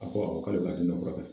A ko awɔ k'ale be ka den dɔ furakɛ.